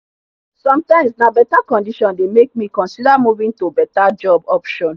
sometimes na better condition dey make me consider moving to better job option